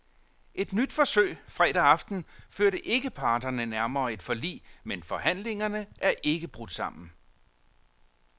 Et nyt forsøg fredag aften førte ikke parterne nærmere et forlig, men forhandlingerne er ikke brudt sammen.